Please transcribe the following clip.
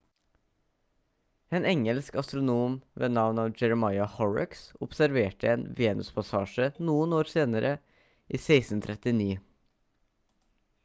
en engelsk astronom ved navn jeremiah horrocks observerte en venuspassasje noen år senere i 1639